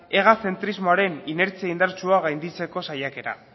ega zentrismoaren inertzia indartsua gainditzeko saiakera